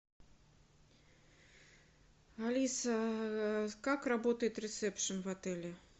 алиса как работает ресепшен в отеле